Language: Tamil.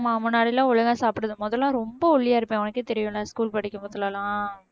ஆமா முன்னாடி எல்லாம் ஒழுங்கா சாப்பிடுறது முதல்ல ரொம்ப ஒல்லியா இருப்பேன் உனக்கே தெரியுல்ல school படிக்கும் போதுலெல்லாம்